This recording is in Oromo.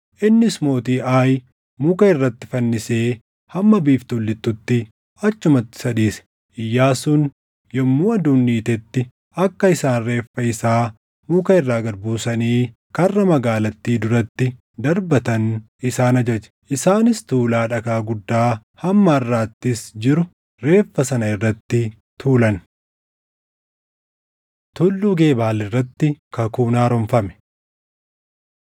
Innis mootii Aayi muka irratti fannisee hamma biiftuun lixxutti achumatti isa dhiise. Iyyaasuun yommuu aduun dhiitetti akka isaan reeffa isaa muka irraa gad buusanii karra magaalattii duratti darbatan isaan ajaje. Isaanis tuulaa dhagaa guddaa hamma harʼaattis jiru reeffa sana irratti tuulan. Tulluu Gebaal Irratti Kakuun Haaromfame